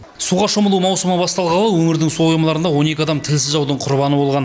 суға шомылу маусымы басталғалы өңірдің су қоймаларында он екі адам тілсіз жаудың құрбаны болған